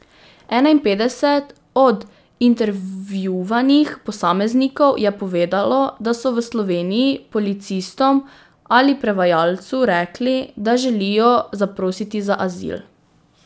Enainpetdeset od intervjuvanih posameznikov je povedalo, da so v Sloveniji policistom ali prevajalcu rekli, da želijo zaprositi za azil.